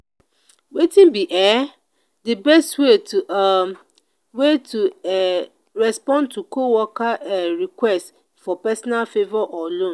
wetin be um di best way to um way to um respond to coworker um request for personal favor or loan?